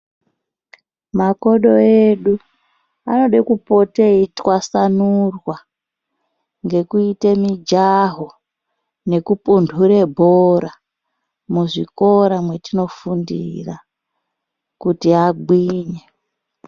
Makodo edu anode kupote eitwasanirwa ngekuite mijaho nekupunhure bhora. Muzvikora mwetinofundira kuti agwinye.